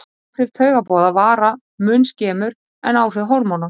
Áhrif taugaboða vara mun skemur en áhrif hormóna.